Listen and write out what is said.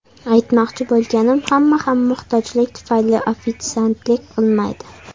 Aytmoqchi bo‘lganim, hamma ham muhtojlik tufayli ofitsiantlik qilmaydi.